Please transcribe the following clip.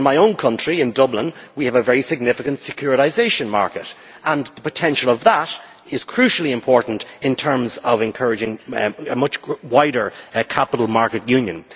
In my own country, in Dublin, we have a very significant securitisation market and the potential of that is crucially important in terms of encouraging a much wider Capital Markets Union.